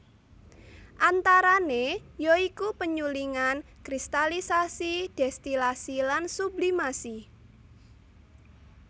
Antarane ya iku penyulingan kristalisasi destilasi lan sublimasi